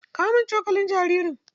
Kawo min cokalin jaririn!